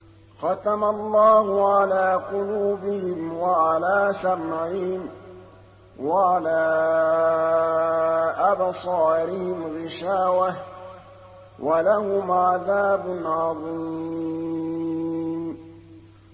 خَتَمَ اللَّهُ عَلَىٰ قُلُوبِهِمْ وَعَلَىٰ سَمْعِهِمْ ۖ وَعَلَىٰ أَبْصَارِهِمْ غِشَاوَةٌ ۖ وَلَهُمْ عَذَابٌ عَظِيمٌ